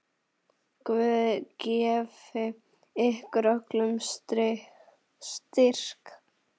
Guð gefi ykkur öllum styrk.